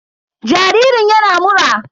Jaririn yana mura.